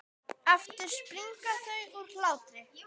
Aftur springa þau úr hlátri.